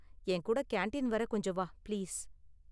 என் கூட கேண்டீன் வர கொஞ்சம் வா, பிளீஸ்.